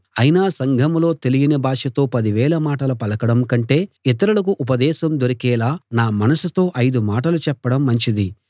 అయినా సంఘంలో తెలియని భాషతో పదివేల మాటలు పలకడం కంటే ఇతరులకు ఉపదేశం దొరికేలా నా మనసుతో ఐదు మాటలు చెప్పడం మంచిది